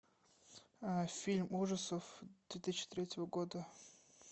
фильм ужасов две тысячи третьего года